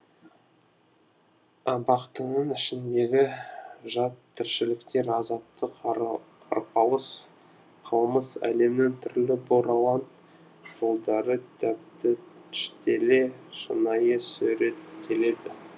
абақтының ішіндегі жат тіршіліктер азапты арпалыс қылмыс әлемінің түрлі бұралаң жолдары тәптіштеле шынайы суреттеледі